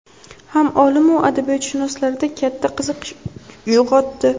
ham olim-u adabiyotshunoslarda katta qiziqish uyg‘otdi.